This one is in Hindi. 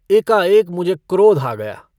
एकाएक मुझे क्रोध आ गया।